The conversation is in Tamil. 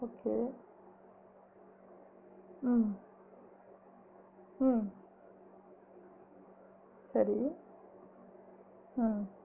Okay ஆஹ் ஆஹ் சரி ஆஹ்